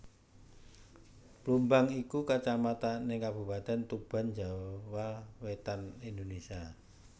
Plumbang iku Kacamatan ing Kabupatèn Tuban Jawa Wétan Indonésia